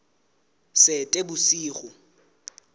seetebosigo